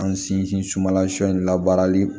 An sinsin sumala sɔn in labaarali